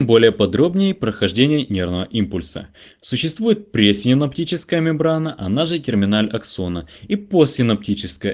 более подробней прохождение нервного импульса существует пресинаптическая мембрана она же терминаль аксона и постсинаптическая